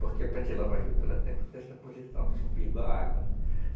Porque para gente lavar juta, ela tem que estar nessa posição do, a água, né?